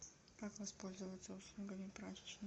как воспользоваться услугами прачечной